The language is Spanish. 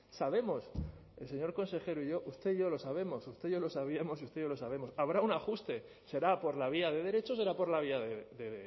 sabemos el señor consejero y yo usted y yo lo sabemos usted y yo lo sabíamos y usted y yo lo sabemos habrá un ajuste será por la vía de derecho será por la vía de